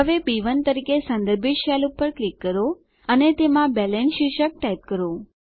હવે બી1 તરીકે સંદર્ભિત સેલ પર ક્લિક કરો અને તેમાં બેલેન્સ શીર્ષક ટાઈપ કરો